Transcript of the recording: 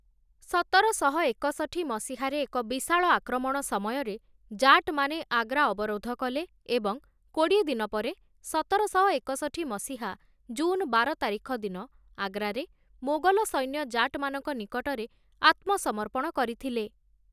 ସତରଶହ ଏକଷଠି ମସିହାରେ ଏକ ବିଶାଳ ଆକ୍ରମଣ ସମୟରେ ଜାଟମାନେ ଆଗ୍ରା ଅବରୋଧ କଲେ ଏବଂ କୋଡ଼ିଏ ଦିନ ପରେ ସତରଶହ ଏକଷଠି ମସିହା ଜୁନ ବାର ତାରିଖ ଦିନ ଆଗ୍ରାରେ ମୋଗଲ ସୈନ୍ୟ ଜାଟମାନଙ୍କ ନିକଟରେ ଆତ୍ମସମର୍ପଣ କରିଥିଲେ ।